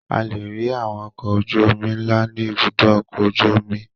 A lè rí àwọn ọkọ̀ ojú-omi ńlá ní Ibùdó-ọkọ̀ ojú-omi.